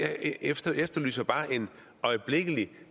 jeg efterlyser bare en øjeblikkelig